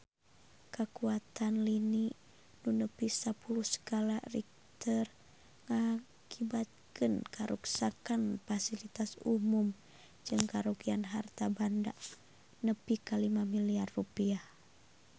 Kakuatan lini nu nepi sapuluh skala Richter ngakibatkeun karuksakan pasilitas umum jeung karugian harta banda nepi ka 5 miliar rupiah